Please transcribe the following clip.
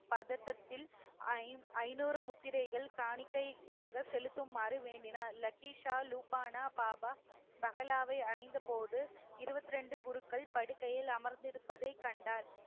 பதட்டத்தில் ஐ~ ஐநூறு முத்திரைகள் காணிக்கையாக செலுத்துமாறு வேண்டினார். லக்கிஷா, லூபானா பாபா பஹாலாவை அடைந்த போது இருபத்தி ரெண்டு குருக்கள் படுக்கையில் அமர்ந்திருப்பதை கண்டார்.